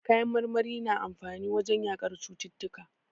Kayan marmari na amfani wajen yaƙar cututtuka.